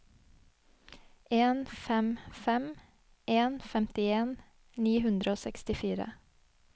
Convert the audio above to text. en fem fem en femtien ni hundre og sekstifire